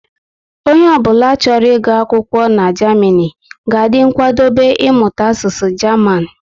Onye ọ bụla chọrọ ị gu akwụkwọ na Germany, ga adị nkwadobe imụta asụsụ German